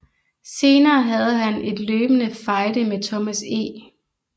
Senere havde han en løbende fejde med Thomas E